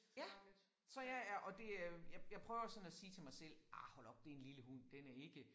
Ja så jeg ja og det øh jeg jeg prøver sådan at sige til mig selv ah hold op det en lille hund den er ikke